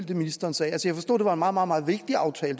det ministeren sagde jeg forstod det var en meget meget vigtig aftale